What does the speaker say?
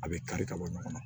A bɛ kari ka bɔ ɲɔgɔn na